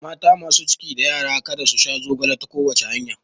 Mata masu ciki da yara kada su sha zogale ta kowace hanya